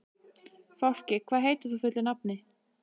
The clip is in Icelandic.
Fálki, hvað heitir þú fullu nafni?